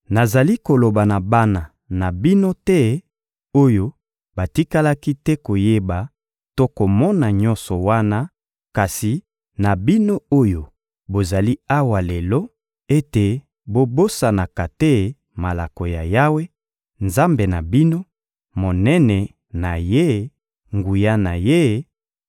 Nazali koloba na bana na bino te oyo batikalaki te koyeba to komona nyonso wana, kasi na bino oyo bozali awa lelo ete bobosanaka te malako ya Yawe, Nzambe na bino, monene na Ye, nguya na Ye,